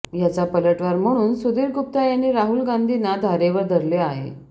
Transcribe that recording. याचा पलटवार म्हणून सुधीर गुप्ता यांनी राहुल गांधींना धारेवर धरले आहे